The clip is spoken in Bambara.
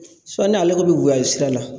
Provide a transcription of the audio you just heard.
ni ale ko bi sira la